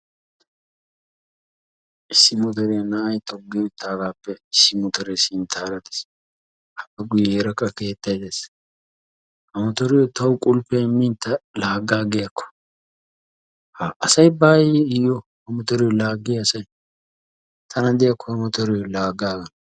Issi motoriya na'ay toggi uttaagaappe issi motoree sinttaara ders. Appe guyyeera qa keettay dees. Ha motoriyo tawu qulppiya immin ta laaggaaggiyakko ha! Asay baaweeyye iyyo? Ha motoriyo laaggiya asay? Tana gidiyakko ha motoriyo laagaagana.